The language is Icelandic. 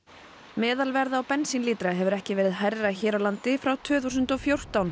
meðalverð á bensínlítra hefur ekki verið hærra hér á landi frá tvö þúsund og fjórtán